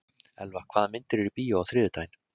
Elva, hvaða myndir eru í bíó á þriðjudaginn?